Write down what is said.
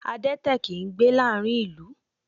Adẹ́tẹ̀ kìí gbé láàárín ìlú